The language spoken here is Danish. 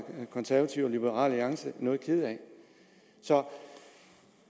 konservative og liberal alliance er noget kede af så